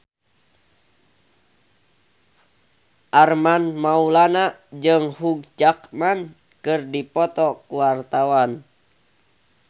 Armand Maulana jeung Hugh Jackman keur dipoto ku wartawan